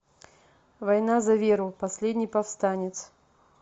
война за веру последний повстанец